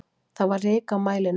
Það var ryk á mælinum.